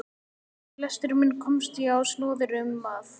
Við lestur minn komst ég á snoðir um að